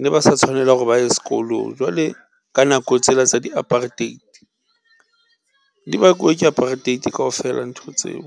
ne ba sa tshwanela hore ba ye sekolong jwale ka nako tsela tsa di-apartheid di bakuwe ke apartheid kaofela ntho tseo.